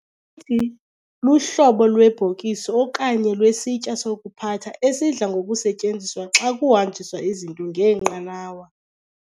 luhlobo lwebhokisi okanye lwesitya sokuphatha esidla ngokusetyenziswa xa kuhanjiswa izinto ngeenqanawa.